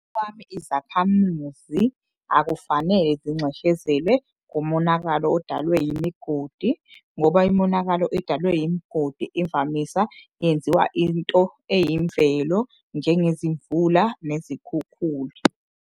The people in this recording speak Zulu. Izakhamuzi akufanele zinxeshezelwe ngomonakalo odalwe yimigodi. Ngoba imonakalo edalwe yimgodi imvamisa yenziwa into eyimvelo njenge zimvula nezikhukhula.